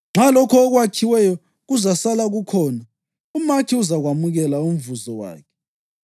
Nxa lokho okwakhiweyo kuzasala kukhona, umakhi uzakwamukela umvuzo wakhe.